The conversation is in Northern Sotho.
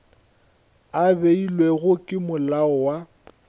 a beilwego ke molao wa